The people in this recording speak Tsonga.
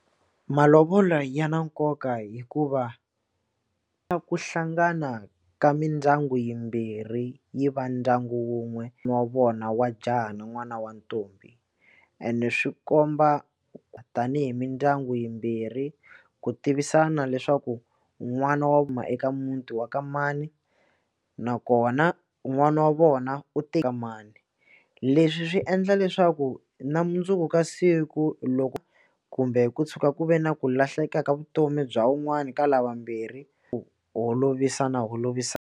Malovolo ya na nkoka hikuva a ku hlangana ka mindyangu yimbirhi yi va ndyangu wun'we wa vona wa jaha na n'wana wa ntombi ene swi komba tanihi mindyangu yimbirhi ku tivisana leswaku n'wana huma eka muti wa ka mani nakona u n'wana wa vona u teka mani leswi swi endla leswaku na mundzuku ka siku loko kumbe ku tshuka ku ve na ku lahleka ka vutomi bya wun'wani ka lava vambirhi ku holovisa .